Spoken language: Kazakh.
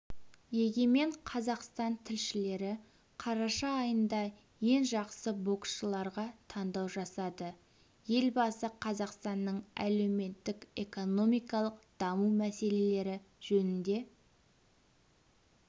егемен қазақстан тілшілері қараша айында ең жақсы боксшыларға таңдау жасады елбасы қазақстанның әлеуметтік-экономикалық даму мәселелері жөнінде